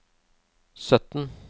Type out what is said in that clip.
sytten